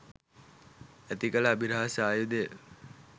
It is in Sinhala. ඇති කල අභිරහස් ආයුධය?